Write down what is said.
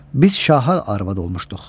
Biz şaha arvad olmuşduq.